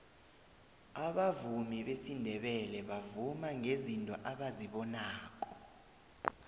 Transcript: abavumi besindebele bavuma ngezinto abazibonako